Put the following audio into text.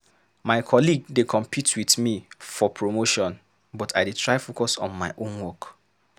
My colleague dey compete with me for promotion, but I dey try focus on my own work.